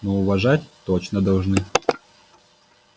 но уважать точно должны